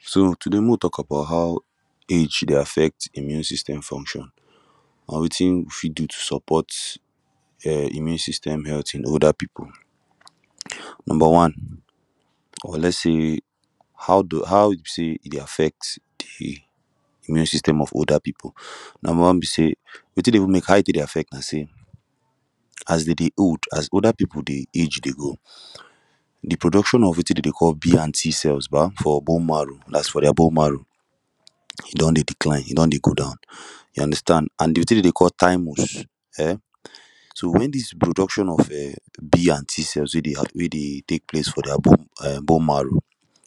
So today mek we tok about how age dey affect de immune system function na wetin we fit do to support[um] immune system healt in older people number one or let's say how e be say e dey affect de immune system of older people number one be say wetin dey even mek how e tek dey affect am na say as dem dey old as older people dey age dey go de production of wetin dem dey call B anti cell for bone marrow dat is for dia bone marrow e don dey decline e don dey go down you understand an de tin dem dey call thymus um so wen dis reproduction of um b and t cells wey dey Tek place for dia bone marrow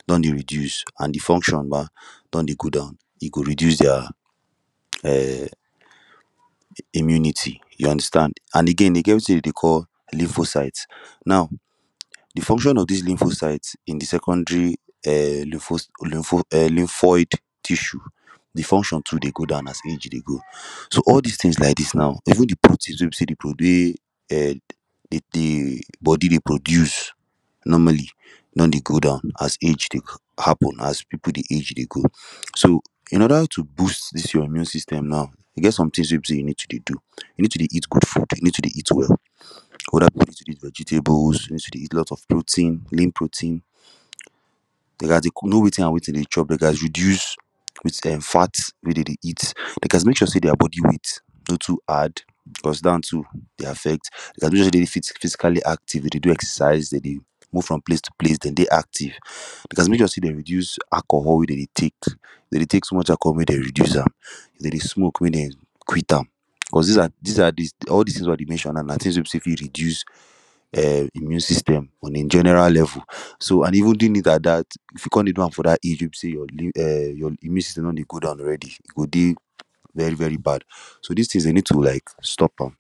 don dey reduce an de function ba don dey go down e go reduce dia um immunity you understand an again e get wetin dem dey call lymphocytes now de function of dis lymphocytes in de secondary um lympho lympho um lymphoid tissue de function too dey go down as engine dey go so all dis tins like dis now even de proteins wey be say de um um de body dey produce normally don dey go down as age dey happen as people dey age dey go so in order to boost dis your immune system now e get some tins wey be say you need to dey do you need to dey eat good food you need to dey eat well olda people need to dey eat vegetables you need to dey eat alot of protein lean protein dey gast dey know wetin an wetin dey need to chop dey gast reduce wetin dem fat wey dem dey eat dey gast mek sure say dia body weight no too add because dat too dey affect dey suppose dey physically active dey do exercise dem dey move from place to place dem dey active they gast mek sure say dem reduce alcohol wey dem dey Tek dem dey Tek too much alcohol mek dem reduce am if dem dey smoke mek dem quit am cause dis are all dis tins wey I dey mention now na tins wey be say fit reduce um immune system on a general level so an even doing it at dat if you com dey do am at dat age wey be say your immune system don dey go down already e go dey very very bad so dis tins dey need to like stop am